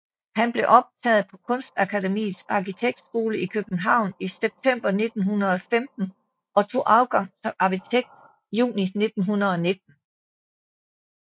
Han blev optaget på Kunstakademiets Arkitektskole i København i september 1915 og tog afgang som arkitekt juni 1919